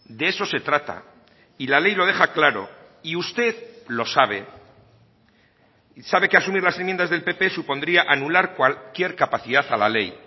de eso se trata y la ley lo deja claro y usted lo sabe y sabe que asumir las enmiendas del pp supondría anular cualquier capacidad a la ley